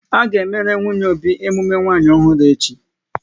A ga emere nwunye Obi emume nwanyi ọhụrụ echi